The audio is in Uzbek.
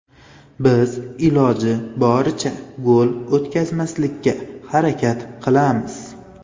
Biz iloji boricha gol o‘tkazmaslikka harakat qilamiz.